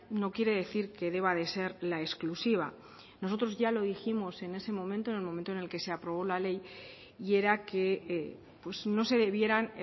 no quiere decir que deba de ser la exclusiva nosotros ya lo dijimos en ese momento en el momento en el que se aprobó la ley y era que no se debieran